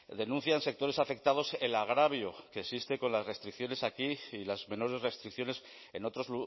denuncian sectores afectados el agravio que existe con las restricciones aquí y las menores restricciones en otros